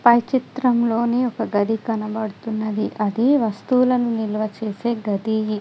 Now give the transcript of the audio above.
పై చిత్రంలోని ఒక గది కనబడుతున్నది అది వస్తువులను నిల్వ చేసే గదీ.